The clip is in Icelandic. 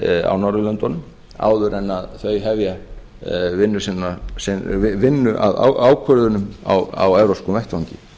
á norðurlöndunum áður en þau hefja vinnu að ákvörðunum á evrópskum vettvangi